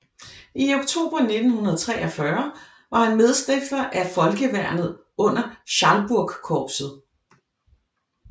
I oktober 1943 var han medstifter af Folkeværnet under Schalburgkorpset